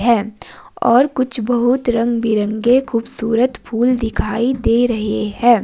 है और कुछ बहुत रंग बिरंगे के खूबसूरत फूल दिखाई दे रहे है।